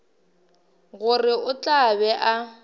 gore o tla be a